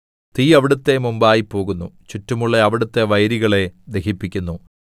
തീ അവിടുത്തെ മുമ്പായി പോകുന്നു ചുറ്റുമുള്ള അവിടുത്തെ വൈരികളെ ദഹിപ്പിക്കുന്നു